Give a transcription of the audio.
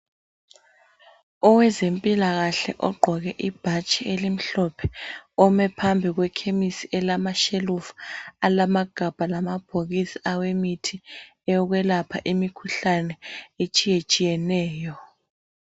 owezempilakahle ogqoke ibhatshi elimhlophe ome phembi kwe khemisi elama tshelufu alamagabha lamabhokisi ayemithi yokwelapha imikhuhlane etshiyetshiyeneyo